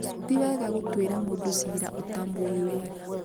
tiwega gũtuĩra mũndũ ciira ũtamũũi wega